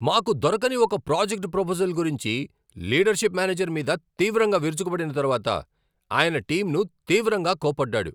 మాకు దొరకని ఒక ప్రాజెక్ట్ ప్రపోజల్ గురించి లీడర్షిప్ మేనేజర్ మీద తీవ్రంగా విరుచుకుపడిన తరువాత, ఆయన టీంను తీవ్రంగా కోప్పడ్డాడు.